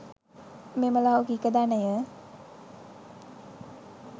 මෙම ලෞකික ධනය